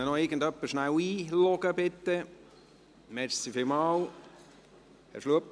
Kann ihn bitte noch jemand einloggen?